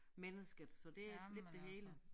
Mennesket så det lidt det hele